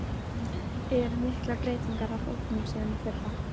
Eru miklar breytingar á hópnum síðan í fyrra?